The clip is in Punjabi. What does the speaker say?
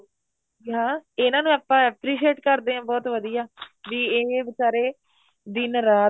ਹਾਂ ਇਹਨਾ ਨੂੰ ਆਪਾਂ appreciate ਕਰਦੇ ਆ ਬਹੁਤ ਵਧੀਆ ਬੀ ਇਹ ਬੀਚਾਰੇ ਦਿਨ ਰਾਤ